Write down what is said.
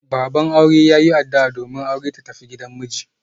Baban aure ya yin addu'a domin aure ta tafi gidan miji.